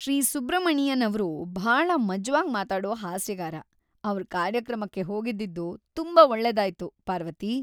ಶ್ರೀ ಸುಬ್ರಮಣಿಯನ್ ಅವ್ರು ಭಾಳ ಮಜ್ವಾಗ್ ಮಾತಾಡೋ ಹಾಸ್ಯಗಾರ. ಅವ್ರ್ ಕಾರ್ಯಕ್ರಮಕ್ಕೆ ಹೋಗಿದ್ದಿದ್ದು ತುಂಬಾ ಒಳ್ಳೆದಾಯ್ತು, ಪಾರ್ವತಿ.